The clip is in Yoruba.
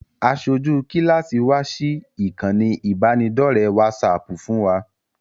Aṣojú kíláàsì wa sí ìkànnì ìbánidọ́ọ̀rẹ́ wásaaàpù fún wa